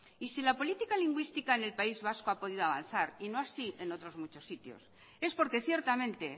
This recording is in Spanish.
y si la política lingüística en el país vasco ha podido avanzar y no así en otros muchos sitios es porque ciertamente